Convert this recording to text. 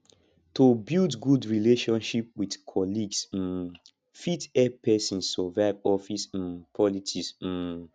to build good relationship with colleagues um fit help pesin survive office um politics um